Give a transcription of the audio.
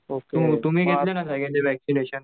हुं तुम्ही घेतलेला का वक्शीनेशन